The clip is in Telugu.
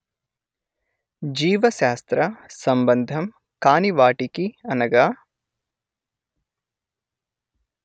జీవశాస్త్ర సంబంధం కాని వాటికి అనగా